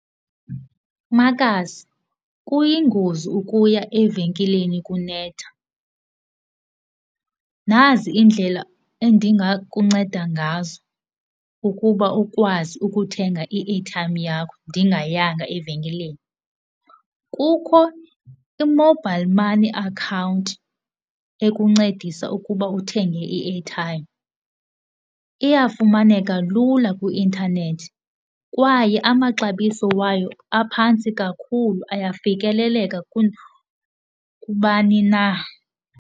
Makazi, kuyingozi ukuya evenkileni kunetha. Nazi iindlela endingakunceda ngazo ukuba ukwazi ukuthenga i-airtime yakho ndingayanga evenkileni. Kukho i-mobile money account ekuncedisa ukuba uthenge i-airtime. Iyafumaneka lula kwi-intanethi kwaye amaxabiso wayo aphantsi kakhulu, ayafikeleleka kubani na.